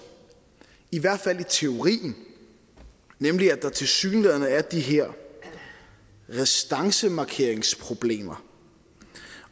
i hvert fald i teorien nemlig at der tilsyneladende er de her restancemarkeringsproblemer